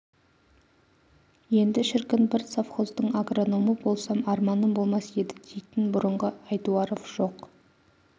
енді шіркін бір совхоздың агрономы болсам арманым болмас еді дейтін бұрынғы айтуаров жоқ